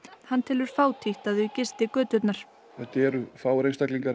hann telur fátítt að þau gisti göturnar þetta eru fáir einstaklingar